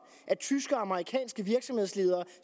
at tyske og amerikanske virksomhedsledere